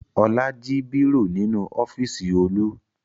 Ọlá jí bírò nínú ọ́fíísì Olú.